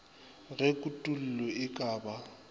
ge kutollo e ka ba